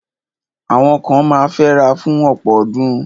Àwọn kan ma fẹ́ra fún ọ̀pọ̀ ọdún.